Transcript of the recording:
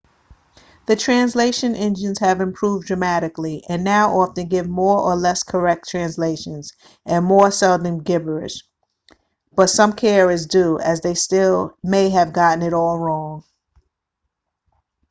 the translation engines have improved dramatically and now often give more or less correct translations and more seldom gibberish but some care is due as they still may have gotten it all wrong